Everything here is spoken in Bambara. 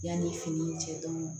Yanni fini cɛ